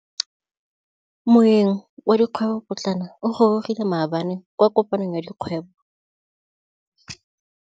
Moêng wa dikgwêbô pôtlana o gorogile maabane kwa kopanong ya dikgwêbô.